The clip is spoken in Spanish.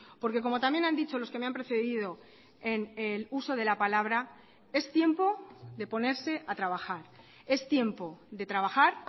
porque como también han dicho los que me han precedido en el uso de la palabra es tiempo de ponerse a trabajar es tiempo de trabajar